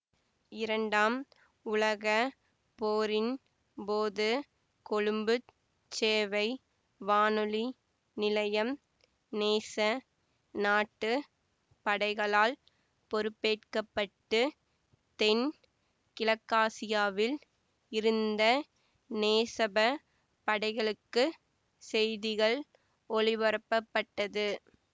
இரண்டாம் உலக போரின் போது கொழும்பு சேவை வானொலி நிலையம் நேச நாட்டு படைகளால் பொறுப்பேற்கப்பட்டு தென் கிழக்காசியாவில் இருந்த நேசப படைகளுக்கு செய்திகள் ஒலிபரப்பட்டது